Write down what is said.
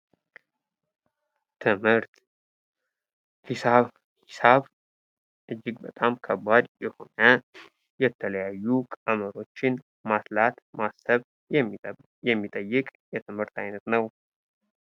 ቀመር ሂሳብ ሂሳብ እጅግ በጣም ከባድ የሆነ የተለያዩ ቀመሮችን ማስላት ማሰብ የሚጠይቅ የትምህርት አይነት ነው።